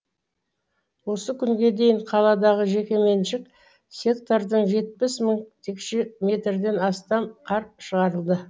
осы күнге дейін қаладағы жекеменшік сектордан жетпіс мың текше метрден астам қар шығарылды